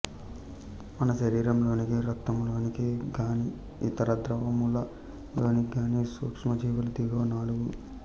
మన శరీరములోని రక్తములోనికి గాని ఇతర ద్రవముల లోనికి గాని సూక్ష్మ జీవులు దిగువ నాలుగు